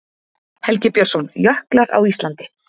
Helgi Björnsson, Jöklar á Íslandi.